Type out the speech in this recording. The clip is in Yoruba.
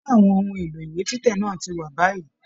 Ṣe àwọn ohùn èlò ìwé títẹ̀ náà ti wà báyìí?